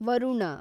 Varuna